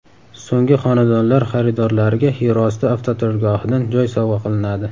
So‘nggi xonadonlar xaridorlariga yerosti avtoturargohidan joy sovg‘a qilinadi!